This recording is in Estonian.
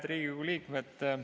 Head Riigikogu liikmed!